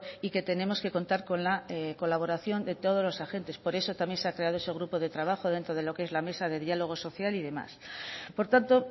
y que tenemos que contar con la colaboración de todos los agentes por eso también se ha creado ese grupo de trabajo dentro de lo que es la mesa de diálogo social y demás por tanto